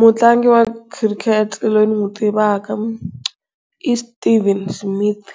Mutlangi wa khirikhete loyi ni n'wi tivaka iSteven Smith